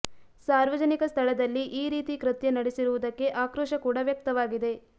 ಸಾರ್ವಜನಿಕ ಸ್ಥಳದಲ್ಲಿ ಈ ರೀತಿ ಕೃತ್ಯ ನಡೆಸಿರುವುದಕ್ಕೆ ಆಕ್ರೋಶ ಕೂಡಾ ವ್ಯಕ್ತವಾಗಿದೆ